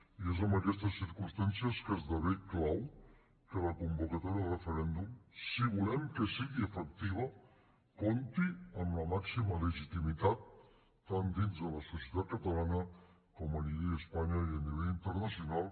i és en aquestes circumstàncies que esdevé clau que la convocatòria de referèndum si volem que sigui efectiva compti amb la màxima legitimitat tant dins de la societat catalana com a nivell d’espanya i a nivell internacional